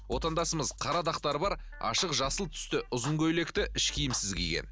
отандасымыз қара дақтары бар ашық жасыл түсті ұзын көйлекті іш киімсіз киген